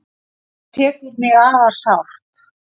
Þetta tekur mig afar sárt.